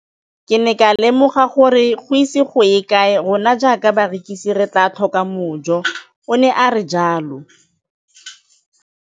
Ke ne ka lemoga gore go ise go ye kae rona jaaka barekise re tla tlhoka mojo, o ne a re jalo.